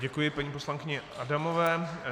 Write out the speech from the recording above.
Děkuji paní poslankyni Adamové.